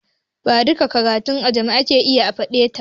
Ba duƙƙan karatun da ake a jami'a ake yi a folytekni ba